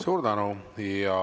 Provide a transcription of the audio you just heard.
Suur tänu!